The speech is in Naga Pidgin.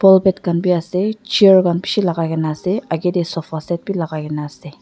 polpat khan bi ase chair khan bishi lakai kaena ase akae tae sofa set bi lagaikena ase.